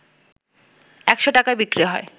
১০০ টাকায় বিক্রি হয়